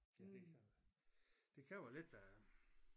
Ja det kan jo det kan jo være lidt øh